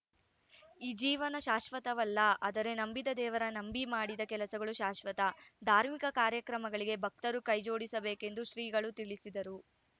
ಈ ಜೀವನ ಶಾಶ್ವತವಲ್ಲ ಆದರೆ ನಂಬಿದ ದೇವರ ನಂಬಿ ಮಾಡಿದ ಕೆಲಸಗಳು ಶಾಶ್ವತ ಧಾರ್ಮಿಕ ಕಾರ್ಯಕ್ರಮಗಳಿಗೆ ಭಕ್ತರು ಕೈ ಜೋಡಿಸಬೇಕೆಂದು ಶ್ರೀಗಳು ತಿಳಿಸಿದರು